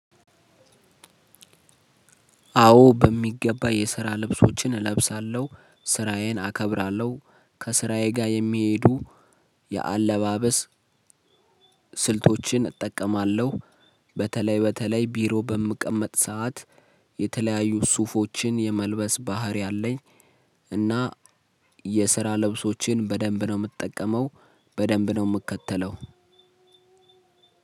አዎ በሚገባ የስራ ልብሶችን እለብሳለሁ ስራየን አከብራለሁ ከስራየ ጋር የሚሄዱ የአለባበስ ስልቶችን እጠቀማለሁ። በተለይ በተለይ ቢሮ በምቀመጥ ሰዓት የተለያዩ ሱፎችን የመልበስ ባህሪ አለኝ። እና የስራ ለብሶችን በደንብ ነው የምጠቀመው። በደንብ ነው የምከተለው።